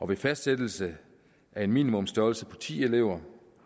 ved fastsættelse af en minimumstørrelse på ti elever